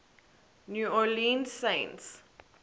new orleans saints